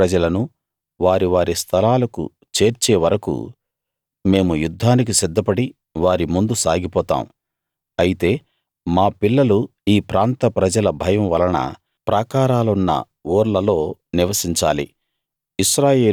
ఇశ్రాయేలు ప్రజలను వారివారి స్థలాలకు చేర్చే వరకూ మేము యుద్ధానికి సిద్ధపడి వారి ముందు సాగిపోతాం అయితే మా పిల్లలు ఈ ప్రాంత ప్రజల భయం వలన ప్రాకారాలున్న ఊర్లలో నివసించాలి